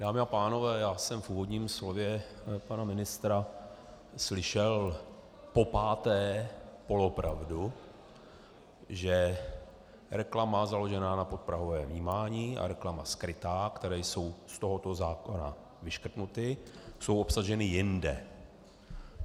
Dámy a pánové, já jsem v úvodním slově pana ministra slyšel popáté polopravdu, že reklama založená na podprahovém vnímání a reklama skrytá, které jsou z tohoto zákona vyškrtnuty, jsou obsaženy jinde.